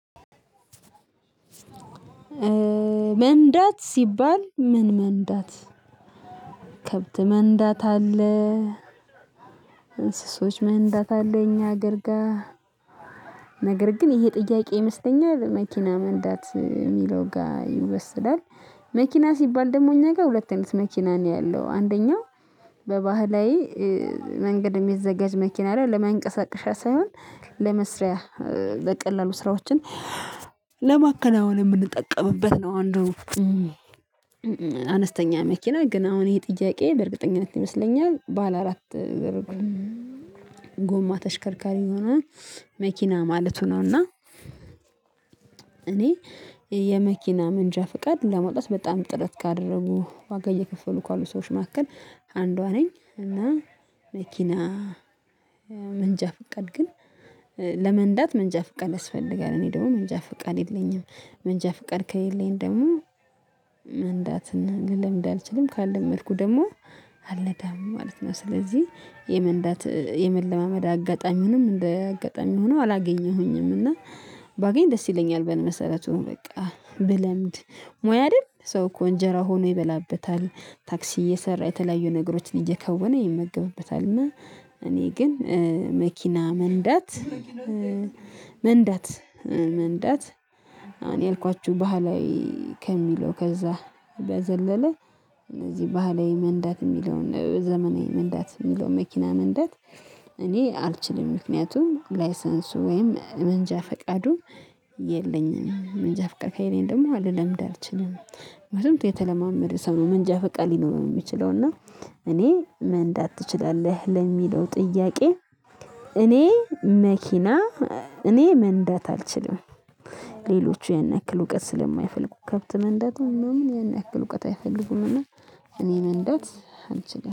መንዳት ሲባል ምን? መንዳት ከብት መንዳት አለ። እንስሶች መንዳት አለ። እኛ ሀገር ጋር ነገር ግን ይሄ ጥያቄ ይመስለኛል መኪና መንዳት የሚለው ጋር ይወሰዳል። መኪና ሲባል ደግሞ እኛ ጋር ሁለት አይነት መኪና ነው ያለው አንደኛው በባህላዊ መንገድ የሚዘጋጅ መኪና ላይ ለመንቀሳቀሻ ሳይሆን ለመስሪያ በቀላሉ ስራዎችን ለማከናወን የምንጠቀምበት ነው። አንዱ አነስተኛ መኪና ግን አሁን ይሄ ጥያቄ በእርግጠኝነት ይመስለኛል ባለ አራት ጎማ ተሽከርካሪ የሆነ መኪና ማለቱ ነው። እና እኔ የመኪና መንጃ ፍቃድ ለመውጣት በጣም ጥረት ካደረጉ ዋጋ እየከፈሉ ካሉ ሰዎች መካከል አንዷ ነኝ። እና መኪና መንጃ ፍቃድ ግን ለመንዳት መንጃ ፍቃድ ያስፈልጋል። እኔ ደግሞ መንጃ ፍቃድ የለኝም መንጃ ፍቃድ ከሌለኝ ደግሞ መንዳትና ልለምድ አልችልም ካለመድኩ ደግሞ አልነዳም ማለት ነው። ስለዚህ የመንዳት የመለማመድ አጋጣሚውንም እንደ አጋጣሚ ሆኖ አላገኘሁኝም እና ባገኝ ደስ ይለኛል። በመሰረቱም በቃ ብለምድ ሞያ አይደል ሰው እኮ እንጀራ ሆኖ ይበላበታል ታክሲ እየሰራ የተለያዩ ነገሮችን እየከወነ ይመገብበታል። እና እኔ ግን መኪና መንዳት መንዳት መንዳት አሁን ያልኳችሁ ባህላዊ ከሚለው ከዛ በዘለለ እነዚህ ባህላዊ መንዳት የሚለውን ዘመናዊ መንዳት የሚለውን መኪና መንዳት እኔ አልችልም። ምክንያቱም ላይሰንሱ ወይም መንጃ ፍቃዱ የለኝም መንጃ ፍቃድ ከየለኝ ደግሞ ልለምድ አልችልም። ምክንያቱም የተለማመደ ሰው ነው መንጃ ፈቃድ ሊኖር የሚችለው እና እኔ ምን መንዳት ትችላለህ? ለሚለው ጥያቄ እኔ መኪና እኔ መንዳት አልችልም። ሌሎቹ ያን ያክል እውቀት ስለማይፈልጉ ከብት መንዳቱ ምናምን ያን ያክል እውቀት አይፈልጉምና። እኔ መንዳት አንችልም